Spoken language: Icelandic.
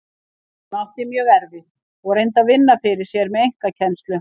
Hún átti mjög erfitt og reyndi að vinna fyrir sér með einkakennslu.